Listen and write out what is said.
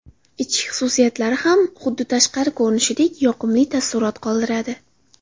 Ichki xususiyatlari ham, xuddi tashqari ko‘rinishidek yoqimli taassurot qoldiradi.